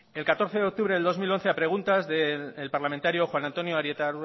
el catorce de octubre del dos mil once a preguntas del parlamentario juan antonio arieta